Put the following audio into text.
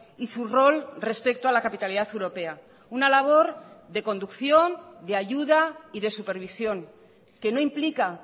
y su rol respecto a la capitalidad europea una labor de conducción de ayuda y de supervisión que no implica